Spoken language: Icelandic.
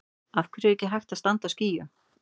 Af hverju er ekki hægt að standa á skýjunum?